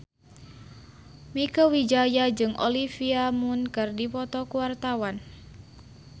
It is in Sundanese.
Mieke Wijaya jeung Olivia Munn keur dipoto ku wartawan